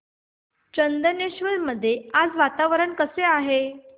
चंदनेश्वर मध्ये आज वातावरण कसे आहे